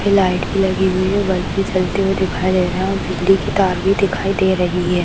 फिर लाइट भी लगी हुई है बल्ब भी जलते हुए दिखाई दे रहा है और बिजली की तार भी दिखाई दे रही है।